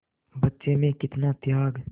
बच्चे में कितना त्याग